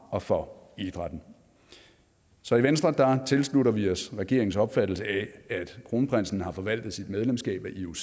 og for idrætten så i venstre tilslutter vi os regeringens opfattelse af at kronprinsen har forvaltet sit medlemskab af ioc